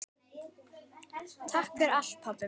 Takk fyrir allt, pabbi minn.